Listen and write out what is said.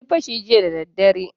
An yi fashi jiya dara dare.